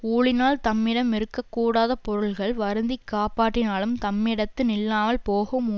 ஊழினால் தம்மிடம் இருக்க கூடாதப்பொருள்கள் வருந்தி காப்பாற்றினாலும் தம்மிடத்து நில்லாமல் போகும்